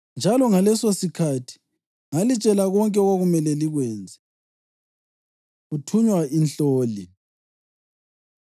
Njalo ngalesosikhathi ngalitshela konke okwakumele likwenze.” Kuthunywa Inhloli